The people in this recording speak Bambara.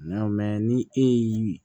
Nka ni e y'i